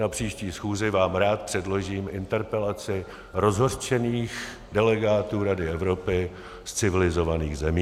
Na příští schůzi vám rád předložím interpelaci rozhořčených delegátů Rady Evropy z civilizovaných zemí.